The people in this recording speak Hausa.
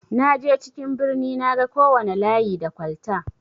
Naje cikin birni naga kowana layi da kwalta.